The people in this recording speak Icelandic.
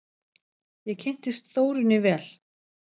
Ég kynntist Þórunni vel.